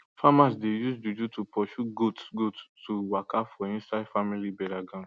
farmers dey use juju to pursue goats goats to waka for inside family burial ground